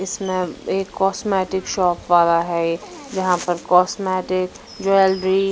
इसमें एक cosmetic shop वाला है यह जहाँ पर कॉस्मेटिक ज्वेलरी --